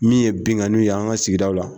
Min ye binkanniw ye an ka sigidaw la